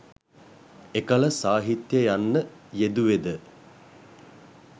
එකල සාහිත්‍යය යන්න යෙදුවේද,